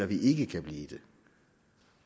vi ikke kan blive det